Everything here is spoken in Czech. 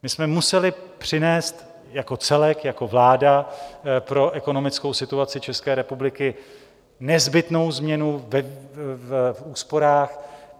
My jsme museli přinést jako celek, jako vláda, pro ekonomickou situaci České republiky nezbytnou změnu v úsporách.